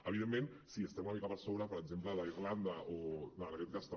evidentment sí estem una mica per sobre per exemple d’irlanda o en aquest cas també